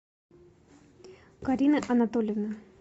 карины анатольевны